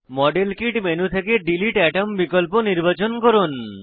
model kit menu থেকে delete item বিকল্প নির্বাচন করুন